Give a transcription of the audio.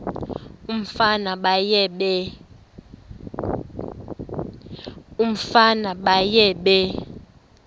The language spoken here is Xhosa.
umfana baye bee